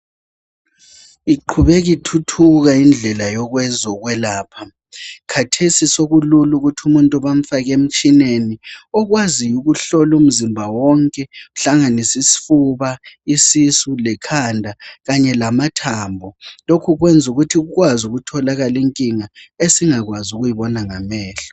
Iqhubeka ithuthuka indlela yokwezokwelapha. Khathesi sokulula ukuthi umuntu bamfake emtshineni okwaziyo ukuhlola umzimba wonke uhlanganise isifuba, isisu lekhanda kanye lamathambo. Lokhu kwenza ukuthi kukwazi ukutholakala inkinga esingakwazi ukuyibona ngamehlo.